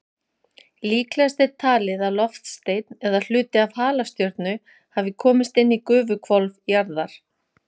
Líklegast er talið að loftsteinn eða hluti af halastjörnu hafi komist inn í gufuhvolf jarðar.